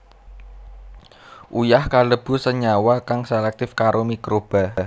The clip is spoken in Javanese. Uyah kalebu senyawa kang selektif karo mikroba